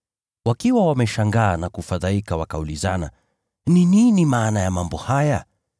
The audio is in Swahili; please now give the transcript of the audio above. Wakiwa wameshangaa na kufadhaika wakaulizana, “Ni nini maana ya mambo haya?”